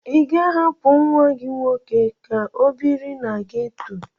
Ị ga-ahapụ nwa gị nwoke ka ọ biri na geto?